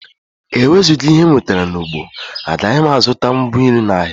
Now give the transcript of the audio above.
Ewezuga ihe m nwetara n’ugbo, agaghị m azụta ngwa nri n’ahịa